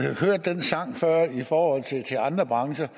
hørt den sang før i forhold til andre brancher